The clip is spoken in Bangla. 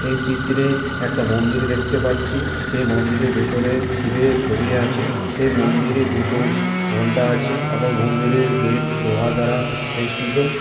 এই চিত্রে একটা মন্দির দেখতে পাচ্ছি সেই মন্দিরের ভেতরে শিবের ছবি আছে। সেই মন্দিরে দুটি ঘন্টা আছে এবং মন্দিরের গেট লোহা দ্বারা বেষ্টিত ।